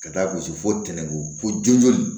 Ka taa gosi fo tɛnɛko fo joona